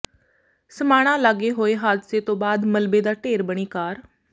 ਸਮਾਣਾ ਲਾਗੇ ਹੋਏ ਹਾਦਸੇ ਤੋਂ ਬਾਅਦ ਮਲਬੇ ਦਾ ਢੇਰ ਬਣੀ ਕਾਰ